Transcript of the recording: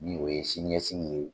Nin o ye sini ɲɛsigi ye.